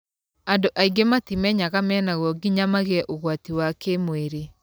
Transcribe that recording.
Andũ aingĩ matimenyaga menaguo nginya magĩe ũgwati wa kĩmwĩrĩ.